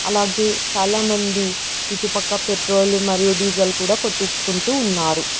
అలాగే చాలామంది ఇటుపక్క పెట్రోలు మరియు డీజిల్ కూడా కొట్టించుకుంటూ ఉన్నారు.